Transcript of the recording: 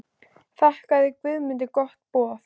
Þakkaði Guðmundur gott boð.